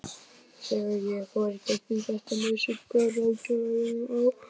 Þegar ég fór í gegnum þetta með Sigga, ráðgjafanum á